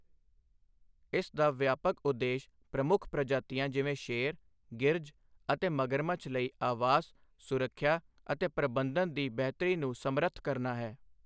ਇਸ ਦਾ ਵਿਆਪਕ ਉਦੇਸ਼ ਪ੍ਰਮੁੱਖ ਪ੍ਰਜਾਤੀਆਂ ਜਿਵੇਂ ਸ਼ੇਰ, ਗਿਰਝ ਅਤੇ ਮਗਰਮੱਛ ਲਈ ਆਵਾਸ, ਸੁਰੱਖਿਆ ਅਤੇ ਪ੍ਰਬੰਧਨ ਦੀ ਬਿਹਤਰੀ ਨੂੰ ਸਮਰੱਥ ਕਰਨਾ ਹੈ,